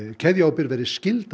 keðjuábyrgð verði skylda